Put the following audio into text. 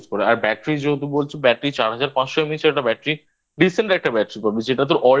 use করে আর Battery যেহেতু বলছে Battery চার হাজার পাঁচশো MH একটা Battery Decent একটা Battery পাবি